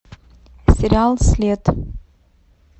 сериал след